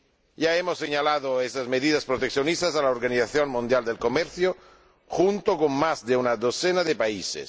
Ya hemos señalado esas medidas proteccionistas a la Organización Mundial del Comercio, junto con más de una docena de países.